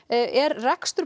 er rekstur